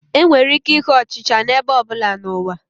Enwere ike ịhụ ọchị ọchị n'ebe ọ bụla n'ụwa